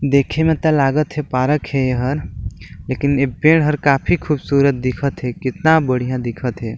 देखे में ता लागत थे पार्क हे यहर लेकिन ये पेड़ हर काफी खूबसूरत दिखत थे कितना बढ़िया दिखत थे।